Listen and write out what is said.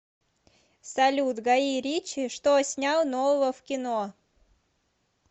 салют гаи ричи что снял нового в кино